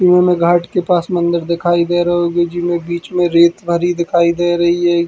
इमें घाट के पास मंदिर दिखाई दे रओ जी में बीच में रेत भरी दिखाई दे रही --